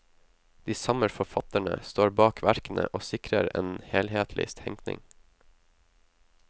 De samme forfatterne står bak verkene og sikrer en helhetlig tenkning.